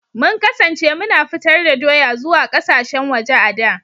Mun kasance muna fitar da doya zuwa kasashen waje a da.